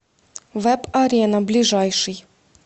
вэб арена ближайший